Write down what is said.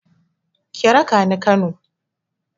Ki raka ni Kano.